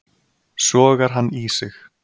Sogar hann í sig.